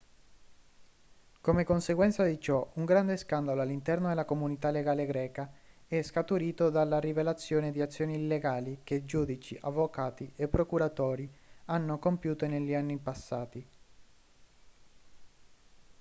come conseguenza di ciò un grande scandalo all'interno della comunità legale greca è scaturito dalla rivelazione di azioni illegali che giudici avvocati e procuratori hanno compiuto negli anni passati